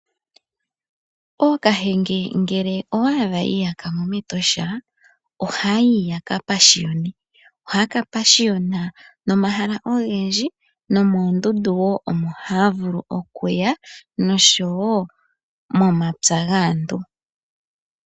Ookahenge ngele owa adha yi iyaka mo mEtosha ohayayi yaka pashiyone . Ohaya ka pashiyona nomahala ogendji nomoondundu woo omo haya vulu okuya noshowo momapya gaantu.